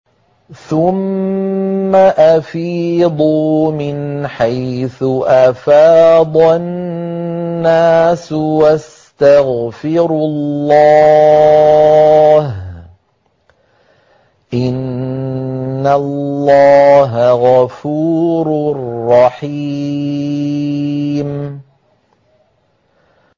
ثُمَّ أَفِيضُوا مِنْ حَيْثُ أَفَاضَ النَّاسُ وَاسْتَغْفِرُوا اللَّهَ ۚ إِنَّ اللَّهَ غَفُورٌ رَّحِيمٌ